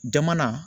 Jamana